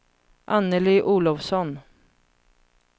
Anneli Olofsson